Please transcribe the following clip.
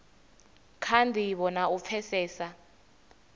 kha ndivho na u pfesesa